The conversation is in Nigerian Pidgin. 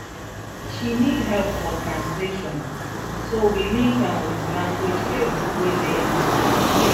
she need help for translation so we link am with language help wey dey online